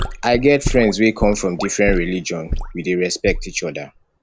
i get friends wey come from different religion we dey respect each oda